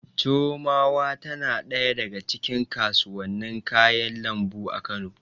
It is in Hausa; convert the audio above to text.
Chiromawa tana ɗaya daga cikin kasuwannin kayan lambu a Kano.